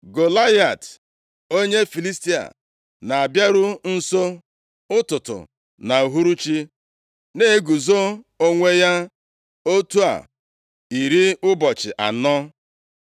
Golaịat, onye Filistia na-abịaru nso ụtụtụ na uhuruchi, na-eguzo onwe ya otu a iri ụbọchị anọ.